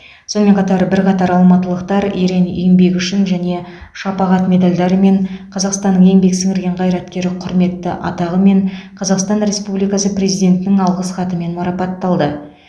сонымен қатар бірқатар алматылықтар ерен еңбегі үшін және шапағат медальдарымен қазақстанның еңбек сіңірген қайраткері құрметті атағымен қазақстан республикасы президентінің алғыс хатымен марапатталды